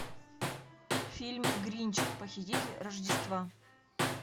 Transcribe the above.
фильм гринч похититель рождества